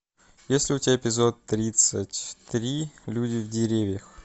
есть ли у тебя эпизод тридцать три люди в деревьях